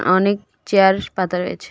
অনেক চেয়ার পাতা রয়েছে.